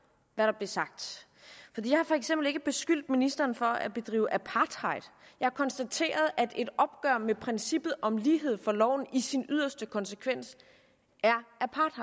hvad der blev sagt jeg har for eksempel ikke beskyldt ministeren for at bedrive apartheid jeg har konstateret at et opgør med princippet om lighed for loven i sin yderste konsekvens